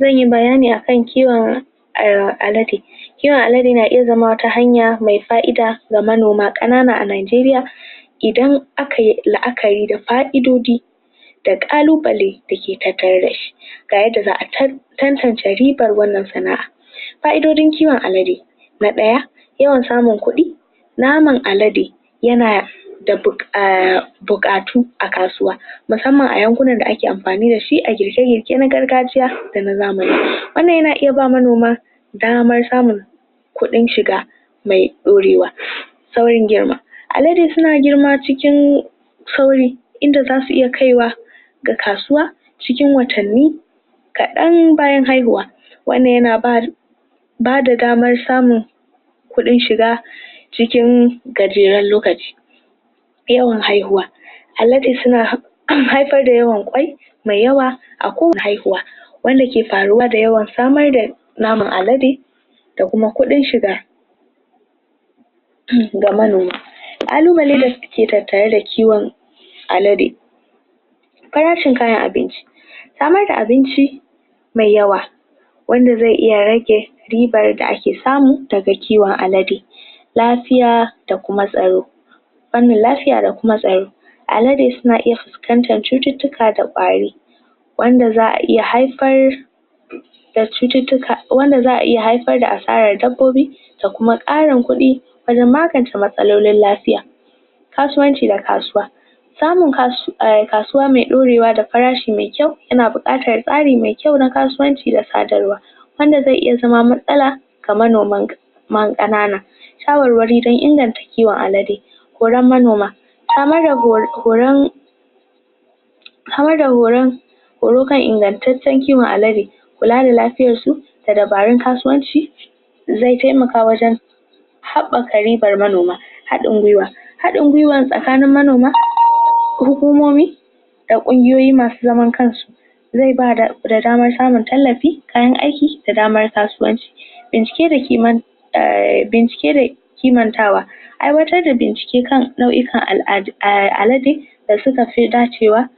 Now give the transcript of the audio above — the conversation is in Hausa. Zan yi bayani akan kiwon alade Kiwon alade na iya zama wata hanya me fa'ida da manoma, kanana a Najeriya idan aka yi da ka'idodi da kallubalai da ke tattare da shi tare da za'a tatance ribar wannan sana'a ka'idodin kiwon alade, na daya, yawan samun kudi, naman alade yana da bukatu a kasuwa, musamman a yankunan da ake amfani da shi a girje-girje na gargajiya da na zamani. Wannan yana iya ba manoma damar samun kudin shiga me dorewa. sauyin girma, Alade suna girma cikin sauri inda za su iya kaiwa ga kasuwa, cikin watanni kadan bayar haihuwa wannan yana ba ba da damar samun kudin shiga cikin gajeren lokaci. haihuwa. Alade suna haifar da yawan kwai me yawa a kowane haihuwa wanda yake faruwa da yawan samar da naman alade da kuma kudin shiga ga manoma. Kallubalai da ke tattare da kiwon alade, farashin kayan abinci, samar da abinci, me yawa wanda ze iya rage ribar da ake samu daga kiwon alade lafiya do kuma sarau panin lafiya da kuma sarau Alade suna iya fuscantan cuttutuka da kwari wanda za'a iya haifar da cuttutuka. Wanda za'a iya haifar da asarar dabbobi da kuma karin kudi wajen maganta matsalolin lafiya. Kasuwanci da kasuwa Samun kasuwa me dorewa da farashi me kyau, yana bukatan kari me kyau na kasuwanci da kadarwa. wanda ze iya zama matsala, ga monoman kanana tawarwari don inganta kiwon alade manoma Samar da horon Samar da horon horon kan inganttacen kiwon alade kula da lafiyan su da dabarun kasuwanci ze taimaka wajen habbaka ribar manoma. hadin gwiwa Hadin gwiwa tsakanin manoma, hukumomi da kungiyoyi masu zaman kan su ze ba da, da damar samun tallafi, kayan aiki da daman kasuwance bincike da ke bincike da ke kimantawa Aiwatar da bincike kan lauyukan alade da suka fi dacewa